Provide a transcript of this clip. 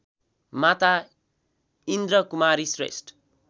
Mata Indrakumari Shrestha